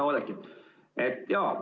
Hea Oudekki!